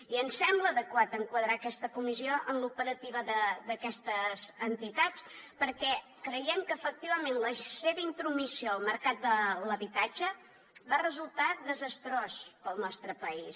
i ens sembla adequat enquadrar aquesta comissió en l’operativa d’aquestes entitats perquè creiem que efectivament la seva intromissió al mercat de l’habitatge va resultar desastrosa per al nostre país